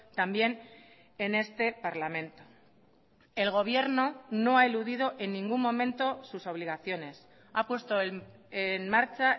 también en este parlamento el gobierno no ha eludido en ningún momento sus obligaciones ha puesto en marcha